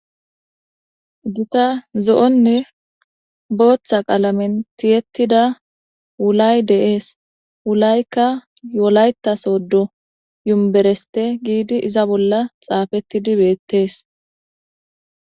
gita zo7onne booththa qaalamen tiyettida wulay deees wulaykka yo7olayta soddo yumbereste giidi iza bolla xaafettidi beettees